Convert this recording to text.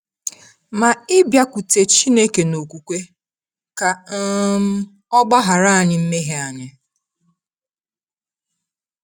Ma ịbịakwute Chineke n’okwukwe, ka um Ọ gbaghara anyị mmehie anyị.